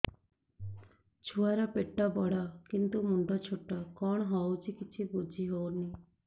ଛୁଆର ପେଟବଡ଼ କିନ୍ତୁ ମୁଣ୍ଡ ଛୋଟ କଣ ହଉଚି କିଛି ଵୁଝିହୋଉନି